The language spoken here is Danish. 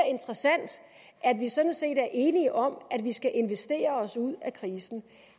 interessant at vi sådan set er enige om at vi skal investere os ud af krisen